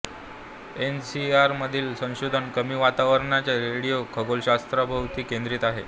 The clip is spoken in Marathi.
एनसीआरए मधील संशोधन कमी वारंवारतेच्या रेडिओ खगोलशास्त्राभोवती केंद्रित आहे